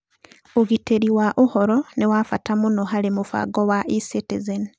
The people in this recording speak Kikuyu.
Ũgitĩri wa ũhoro nĩ wa bata mũno harĩ mũbango wa eCitizen.